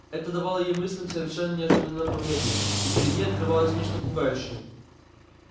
это давало её мыслям совершенно неожиданное направление и перед ней открывалось нечто пугающее